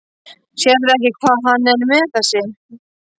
Sérðu ekki hvað hann er með þessi?